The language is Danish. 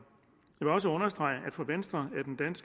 jeg vil også understrege at for venstre